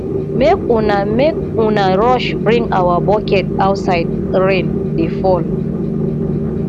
make una make una rush bring our bucket outside rain dey fall